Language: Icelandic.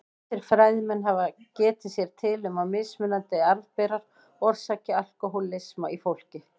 Ýmsir fræðimenn hafa getið sér til um að mismunandi arfberar orsaki alkóhólisma í fólki.